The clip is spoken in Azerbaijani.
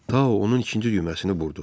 Tau onun ikinci düyməsini burdu.